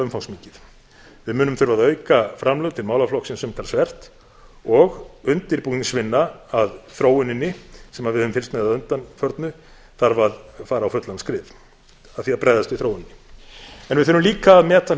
umfangsmikið við munum þurfa að auka framlög til málaflokksins umtalsvert og undirbúningsvinna að þróuninni sem við höfum fylgst með að undanförnu þarf að fara á fullan skrið að því að bregðast við þróuninni en við þurfum líka að meta hluti